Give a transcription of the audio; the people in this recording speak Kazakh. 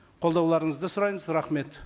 қолдауларыңызды сұраймыз рахмет